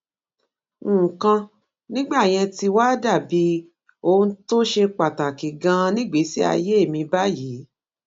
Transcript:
nǹkan nígbà yẹn ti wá dà bí ohun tó ṣe pàtàkì ganan nígbèésí ayé mi báyìí